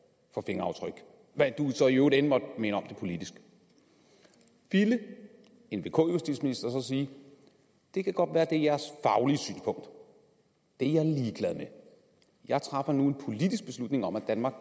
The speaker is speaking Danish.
for fingeraftryk hvad du så end i øvrigt måtte mene om det politisk ville en vk justitsminister så sige det kan godt være at det er jeres faglige synspunkt det er jeg ligeglad med jeg træffer nu en politisk beslutning om at danmark